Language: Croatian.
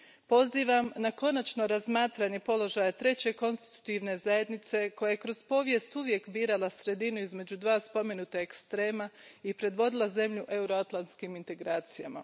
Pozivam na konačno razmatranje položaja treće konstitutivne zajednice, koja je kroz povijest uvijek birala sredinu između dva spomenuta ekstrema i predvodila zemlju u euroatlantskim integracijama.